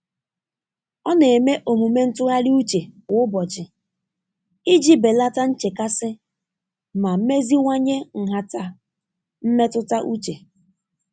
Ọ na-eme omume ntụgharị uche kwa ụbọchị iji belata nchekasị ma meziwanye nhata mmetụta uche.